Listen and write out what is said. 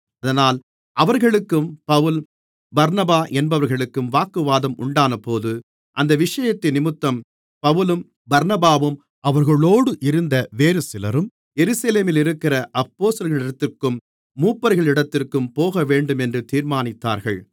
அதனால் அவர்களுக்கும் பவுல் பர்னபா என்பவர்களுக்கும் வாக்குவாதம் உண்டானபோது அந்த விஷயத்தினிமித்தம் பவுலும் பர்னபாவும் அவர்களோடு இருந்த வேறு சிலரும் எருசலேமிலிருக்கிற அப்போஸ்தலர்களிடத்திற்கும் மூப்பர்களிடத்திற்கும் போகவேண்டுமென்று தீர்மானித்தார்கள்